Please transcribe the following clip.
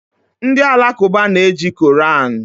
Ndị Alakụba na eji Koran